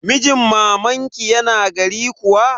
Mijin mamanki yana gari kuwa?